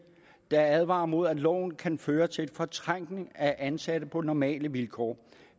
der advarer imod at loven kan føre til en fortrængning af ansatte på normale vilkår